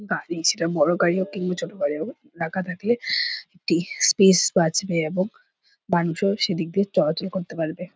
গাড়ি সেটা বড় গাড়ি হোক কিংবা ছোট গাড়ি হোক ঢাকা থাকলে একটি স্পেস বাচবে এবং মানুষ ও সেদিক দিয়ে চলাচল করতে পারবে।